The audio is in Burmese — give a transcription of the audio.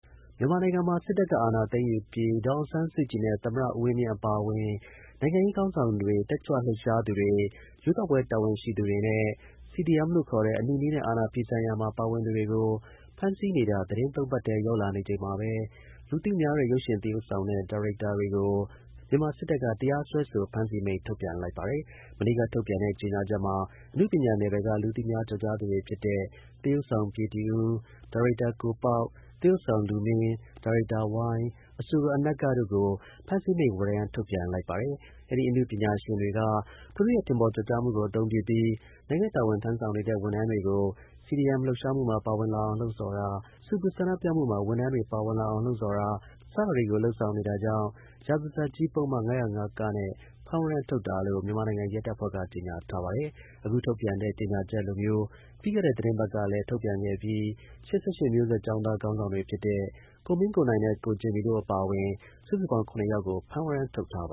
မြန်မာနိုင်ငံမှာ စစ်တပ်က အာဏာသိမ်းယူပြီး ဒေါ်အောင်ဆန်းစုကြည်နဲ့ သမ္မတ ဦးဝင်းမြင့် အပါအဝင် နိုင်ငံရေးခေါင်းဆောင်တွေ၊ တက်ကြွလှုပ်ရှားသူတွေ၊ ရွေးကောက်ပွဲ တာဝန်ရှိသူတွေနဲ့ CDM လို့ ခေါ်တဲ့ အနုနည်းနဲ့ အာဏာ ဖီဆန်ရာမှာ ပါဝင်သူတွေကို ဖမ်းဆီး နေတာ သီတင်းသုံးပတ်ထဲ ရောက်လာတဲ့အချိန်မှာပဲ လူသိများ တဲ့ ရုပ်ရှင် သရုပ်ဆောင်နဲ့ ဒါရိုက်တာတွေကို မြန်မာစစ်တပ်က တရား စွဲဆို ဖမ်းဆီးမိန့် ထုတ်ပြန်လိုက်ပါတယ်။ မနေ့က ထုတ်ပြန်တဲ့ ကြေညာချက်မှာ အနုပညာနယ်ပယ်က လူသိများကျော်ကြားသူတွေဖြစ်တဲ့ သရုပ်ဆောင် ပြေတီဦး၊ ဒါရိုက်တာ ကိုပေါက်၊သရုပ်ဆောင်လူမင်း၊ ဒါရိုက်တာဝိုင်း၊ ဒါရိုက်တာဏကြီးနဲ့ အဆိုတော်အနဂ္ဂတို့ကို ဖမ်းဆီးမိန့် ဝရမ်း ထုတ်ပြန်လိုက်တာပါ။ အဲဒီ အနုပညာရှင်တွေက သူတို့ရဲ့ ထင်ပေါ်ကျော်ကြားမှုကို အသုံးပြုပြီး နိုင်ငံတာဝန်ထမ်းဆောင်နေတဲ့ ဝန်ထမ်းတွေကို CDM လှုပ်ရှား မှုမှာ ပါဝင်လာအောင်လှုံ့ဆော်တာ၊ ဆူပူဆန္ဒပြမှုမှာ ဝန်ထမ်းတွေပါဝင်လာအောင်လှုံ့ဆော်တာ စတာတွေကို လုပ်ဆောင်နေတာ ကြောင့် ရာဇသတ် ကြီးပုဒ်မ ၅၀၅(က) နဲ့ ဖမ်းဝရမ်း ထုတ်တာလို့ မြန်မာနိုင်ငံရဲတပ်ဖွဲ့က ကြေညာထားပါတယ်။ အခု ထုတ်ပြန်တဲ့ ကြေညာချက်လိုမျိုး ပြီးခဲ့တဲ့ သီတင်းပတ်ကလည်း ထုတ်ပြန်ပြီး၈၈ မျိုးဆက် ကျောင်းသား ခေါင်းဆောင်တွေ ဖြစ်တဲ့ ကိုမင်းကို နိုင်နဲ့ ကိုဂျင်မီတို့ အပါအဝင် စုစုပေါင်း ၇ ယောက်ကို ဖမ်းဝရမ်း ထုတ်ထားတာပ